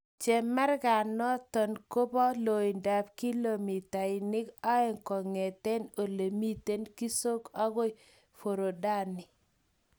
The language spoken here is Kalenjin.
Chemarganoton kopo loindap kilometreeg oeng kongeten ole miten Kisongw agoi Forodhani.